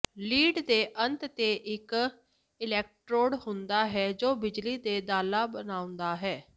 lead ਦੇ ਅੰਤ ਤੇ ਇਕ ਇਲੈਕਟ੍ਰੋਡ ਹੁੰਦਾ ਹੈ ਜੋ ਬਿਜਲੀ ਦੇ ਦਾਲਾਂ ਬਣਾਉਂਦਾ ਹੈ